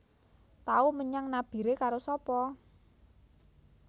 Tau menyang Nabire karo sapa